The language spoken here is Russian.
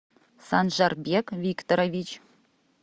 санжарбек викторович